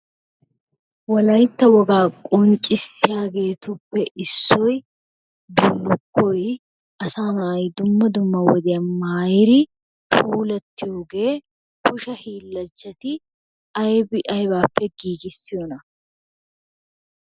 Wolaytta wogaa qonccissiyageetuppe issoy bullukkoy asaa na'y dumma dumma wodiyaan maayiri puulatiyooge kushe hiilanchchati aybbi aybbappe giigissiyoona?